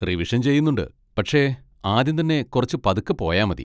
Revision ചെയ്യുന്നുണ്ട്, പക്ഷെ ആദ്യം തന്നെ കുറച്ച് പതുക്കെ പോയാ മതി.